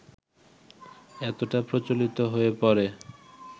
এতটাই প্রচলিত হয়ে পড়ে